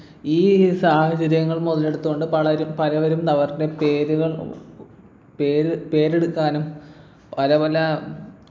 ഈ സാഹചര്യങ്ങൾ മുതലെടുത്തുകൊണ്ട് പലരും പലവരും അവരുടെ പേരുകൾ പേര് പേരെടുക്കാനും പല പല